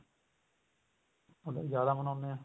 ਉੱਧਰ ਜਿਆਦਾ ਮਨਾਉਂਦੇ ਆ